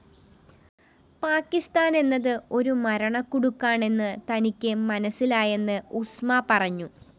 പാക്കിസ്ഥാന്‍ എന്നത് ഒരു മരണക്കുടുക്കാണെന്ന് തനിക്ക് മനസ്സിലായെന്ന് ഉസ്മ പറഞ്ഞു